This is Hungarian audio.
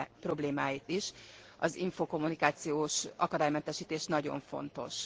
problémáit is, az infokommunikációs akadálymentesítés nagyon fontos.